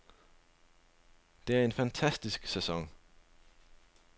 Det er en fantastisk sæson.